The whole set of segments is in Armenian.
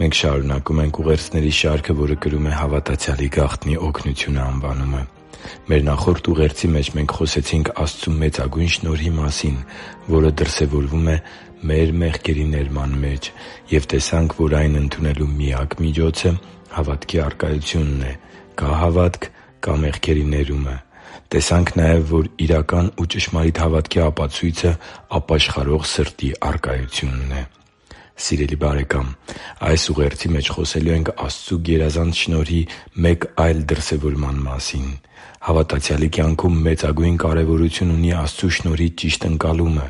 Մենք շարունակում ենք ուղերձների շարքը, որը կրում է «Հավատացյալի գաղտնի օգնությունը» անվանումը։ Մեր նախորդ ուղերձի մեջ մենք խոսեցինք Աստծու մեծագույն շնորհի մասին, որը դրսևորվում է մեր մեղքերի ներման մեջ, և տեսանք, որ այն ընդունելու միակ միջոցը հավատքի առկայությունն է։ Կա՞ հավատք՝ կա՛ մեղքերի ներումը։ Տեսանք նաև, որ իրական ու ճշմարիտ հավատքի ապացույցը ապաշխարող սրտի առկայությունն է։ Սիրելի՛ բարեկամ, այս ուղերձի մեջ խոսելու ենք Աստծու գերազանց շնորհի մեկ այլ դրսևորման մասին։ Հավատացյալի կյանքում մեծագույն կարևորություն ունի Աստծու շնորհի ճիշտ ընկալումը։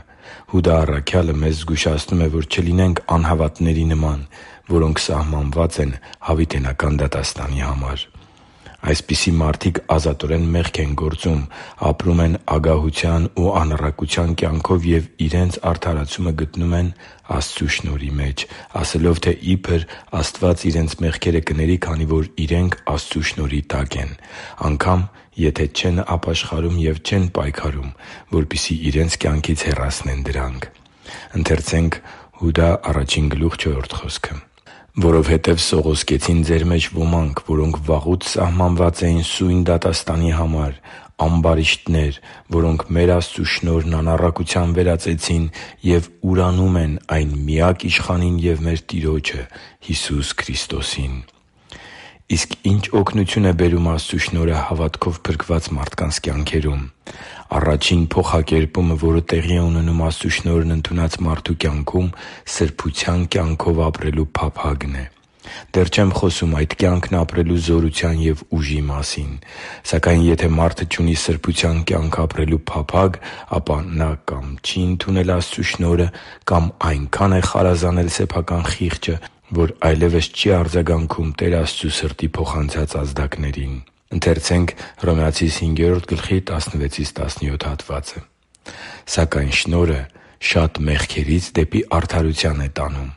Հուդա առաքյալը մեզ զգուշացնում է, որ չլինենք անհավատների նման, որոնք սահմանված են հավիտենական դատաստանի համար։ Այսպիսի մարդիկ ազատորեն մեղք են գործում, ապրում ագահության ու անառակության կյանքով և իրենց արդարացումը գտնում Աստծու շնորհի մեջ՝ ասելով, թե իբր Աստված իրենց մեղքերը կների, քանի որ իրենք Աստծու շնորհի տակ են, անգամ եթե իրենք չեն ապաշխարում և չեն պայքարում, որպեսզի իրենց կյանքից հեռացնեն դրանք։ «…որովհետև սողոսկեցին ձեր մեջ ոմանք, որոնք վաղուց սահմանված էին սույն դատաստանի համար, ամբարիշտներ, որոնք մեր Աստծու շնորհն անառակության վերածեցին և ուրանում են այն միակ Իշխանին և մեր Տիրոջը՝ Հիսուս Քրիստոսին» (Հուդա 1․4): Իսկ ի՞նչ օգնություն է բերում Աստծու շնորհը հավատքով փրկված մարդկանց կյանքերում։ Առաջին փոխակերպումը, որը տեղի է ունենում Աստծու շնորհն ընդունած մարդու կյանքում, սրբության կյանքով ապրելու փափագն է։ Դեռ չեմ խոսում այդ կյանքն ապրելու զորության և ուժի մասին։ Սակայն եթե մարդը չունի սրբության կյանք ապրելու փափագ, ապա նա կա՛մ չի ընդունել Աստծու շնորհը, կամ այնքա՜ն է խարազանել սեփական խիղճը, որ այլևս չի արձագանքում Տեր Աստծու սրտի փոխանցած ազդակներին։ «…սակայն շնորհը շատ մեղքերից դեպի արդարություն է տանում։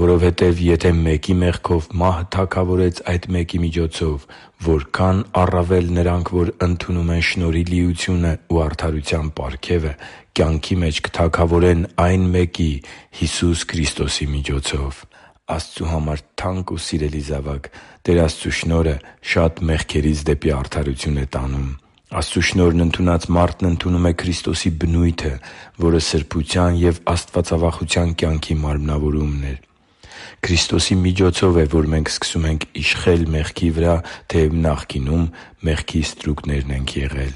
Որովհետև եթե մեկի մեղքով մահը թագավորեց այդ մեկի միջոցով, որքա՜ն առավել նրանք, որ ընդունում են շնորհի լիությունն ու արդարության պարգևը, կյանքի մեջ կթագավորեն այն մեկի՝ Հիսուս Քրիստոսի միջոցով» (Հռոմեացիս 5․16-17): Աստծու համար թանկ ու սիրելի՛ զավակ, Տեր Աստծու շնորհը շատ մեղքերից դեպի արդարություն է տանում։ Աստծու շնորհն ընդունած մարդն ընդունում է Քրիստոսի բնույթը, որը սրբության և աստվածավախության կյանքի մարմնավորումն է։ Քրիստոսի միջոցով է, որ մենք սկսում ենք իշխել մեղքի վրա, թեև նախկինում մեղքի ստրուկներն ենք եղել։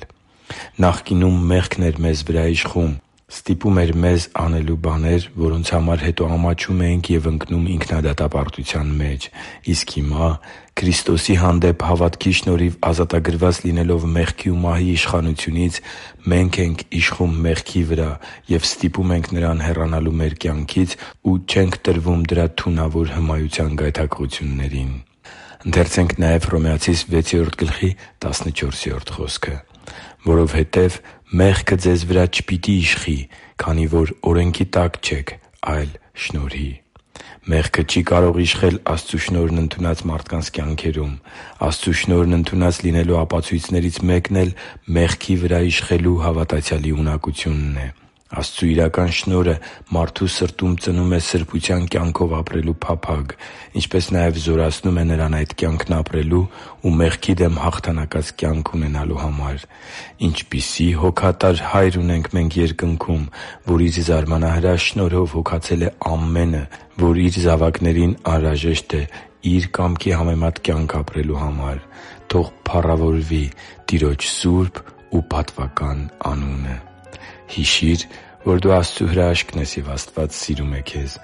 Նախկինում մեղքն էր մեզ վրա իշխում՝ ստիպում էր մեզ անելու բաներ, որոնց համար հետո ամաչում էինք ու ընկնում ինքնադատապարտության մեջ։ Իսկ հիմա Քրիստոսի հանդեպ հավատքի շնորհիվ ազատագրված լինելով մեղքի ու մահի իշխանությունից՝ մենք ենք իշխում մեղքի վրա և ստիպում ենք նրան հեռանալու մեր կյանքից ու չենք տրվում դրա թունավոր հմայության գայթակղություններին։ «Որովհետև մեղքը ձեզ վրա չպիտի իշխի, քանի որ օրենքի տակ չեք, այլ շնորհի» (Հռոմեացիս 6․14): Մեղքը չի կարող իշխել Աստծու շնորհն ընդունած մարդկանց կյանքերում։ Աստծու շնորհն ընդունած լինելու ապացույցներից մեկն էլ մեղքի վրա իշխելու՝ հավատացյալի ունակությունն է։ Աստծու իրական շնորհը մարդու սրտում ծնում է սրբության կյանքով ապրելու փափագ, ինչպես նաև զորացնում նրան այդ կյանքն ապրելու ու մեղքի դեմ հաղթանակած կյանք ունենալու համար։ Ինչպիսի՜ հոգատար Հայր ունենք մենք Երկնքում, որ Իր զարմանահրաշ շնորհով հոգացել է ամենը, որ Իր զավակներին անհրաժեշտ է Իր կամքի համեմատ կյանք ապրելու համար։ Թո՛ղ փառավորվի Տիրոջ սուրբ ու պատվական անունը․․․ Հիշի՛ր, որ դու Աստծո հրաշքն ես, և Աստված սիրում է քեզ։